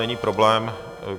Není problém.